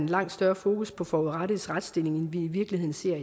langt større fokus på forurettedes retsstilling end vi i virkeligheden ser